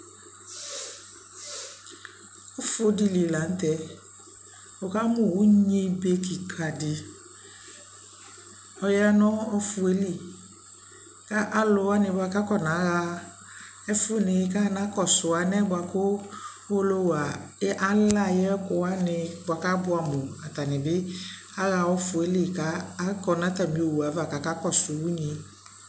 Ufu dι lι la nʋ tɛɛ Wʋkamʋ unyi be kika dι ɔya nʋ ʋfʋ yɛ li kʋ alʋwani kʋ afɔnaɣa ɛfʋni kʋ aɣaankɔsu anɛ bua kʋ uwolowu alɛ ayi ɛkʋwani bua kʋ abuamʋ Ata nι bι aɣa ufu yɛ li ka akɔ nʋ atami owu yɛ ava kakakɔsu unyi